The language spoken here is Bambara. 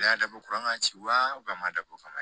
A y'a dabɔ kuran ka ci wa a ma dabɔ o kama